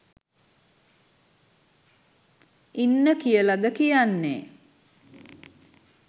ඉන්න කියලද කියන්නෙ?